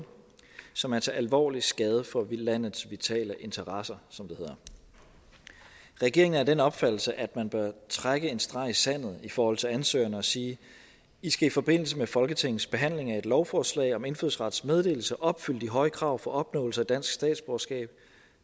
som er til alvorlig skade for landets vitale interesser som det hedder regeringen er af den opfattelse at man bør trække en streg i sandet i forhold til ansøgerne og sige i skal i forbindelse med folketingets behandling af et lovforslag om indfødsrets meddelelse opfylde de høje krav for opnåelse af dansk statsborgerskab